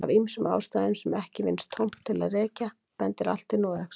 Af ýmsum ástæðum sem ekki vinnst tóm til að rekja bendir allt til Noregs.